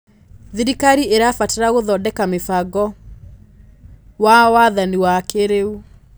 Thirikari ĩrabatara gũthondeka mĩbango wa wathani wa kĩrĩu.